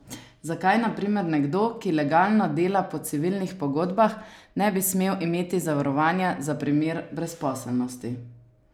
Zakaj na primer nekdo, ki legalno dela po civilnih pogodbah, ne bi smel imeti zavarovanja za primer brezposelnosti?